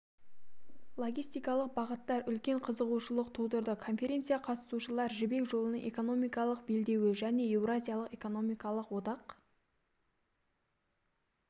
логистикалық бағыттар үлкен қызығушылық тудырды конференция қатысушылар жібек жолының экономикалық белдеуі және еуразиялық экономикалық одақ